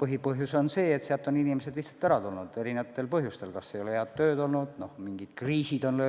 Põhipõhjus on see, et sealt on inimesed lihtsalt ära tulnud erinevatel põhjustel: kas ei ole head tööd olnud, mingid kriisid on